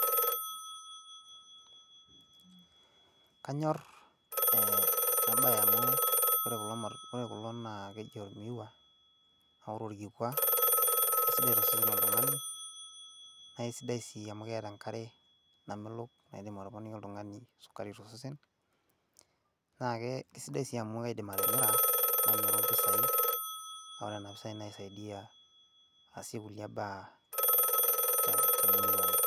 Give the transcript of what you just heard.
kanyor ena bae amu ore kulo naa keji ormiwa, ore orkikua kisidai tosesen loltungani. naa kisidai sii amu keeta enkare. namelok, naidim atoponiki oltungani enkae tosesen. isidai sii amu kaidim atimira, namiru mpisai. ore nena pisai naisaidia aasie kulie baa temurua ai.